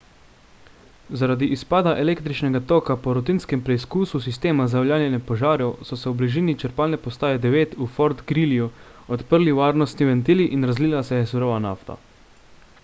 zaradi izpada električnega toka po rutinskem preizkusu sistema za javljanje požarov so se v bližini črpalne postaje 9 v fort greelyju odprli varnostni ventili in razlila se je surova nafta